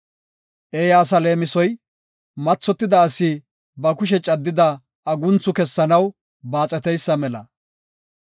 Eeya asa leemisoy mathotida asi ba kushe caddida agunthu kessanaw baaxeteysa mela.